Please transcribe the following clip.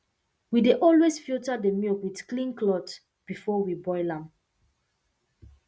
we dey always filter the milk with clean cloth before we boil am